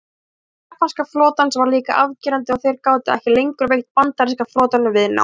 Missir japanska flotans var líka afgerandi og þeir gátu ekki lengur veitt bandaríska flotanum viðnám.